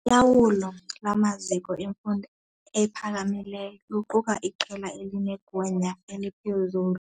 Ulawulo lwamaziko emfundo ephakamileyo luquka iqela elinegunya eliphezulu.